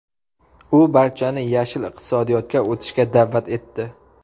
U barchani yashil iqtisodiyotga o‘tishga da’vat etdi.